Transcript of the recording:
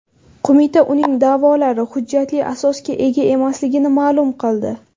Qo‘mita uning da’volari hujjatli asosga ega emasligini ma’lum qildi.